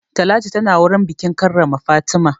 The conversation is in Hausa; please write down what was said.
Talatu tana wurin bikin karrama Fatima.